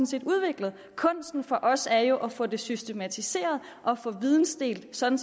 set udviklet kunsten for os er jo at få det systematiseret og få videndeling sådan